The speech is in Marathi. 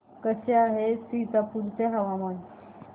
कसे आहे सीतापुर चे हवामान